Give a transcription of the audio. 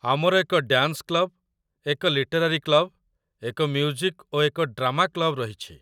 ଆମର ଏକ dance club, ଏକ ଲିଟେରାରି କ୍ଲବ୍‌, ଏକ ମ୍ୟୁଜିକ୍ ଓ ଏକ ଡ୍ରାମା କ୍ଲବ୍‌ ରହିଛି